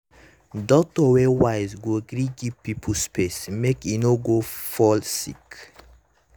doctor wey wise go gree give pipo space make e no go fall sick.